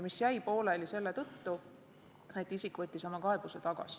See jäi pooleli selle tõttu, et isik võttis oma kaebuse tagasi.